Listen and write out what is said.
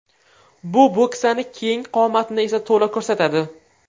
Bu bo‘ksani keng qomatni esa to‘la ko‘rsatadi.